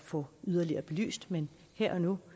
få yderligere belyst men her og nu